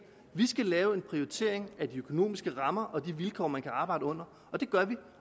vi skal lave en prioritering af de økonomiske rammer og de vilkår man kan arbejde under og det gør vi